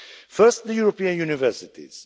First, the European universities.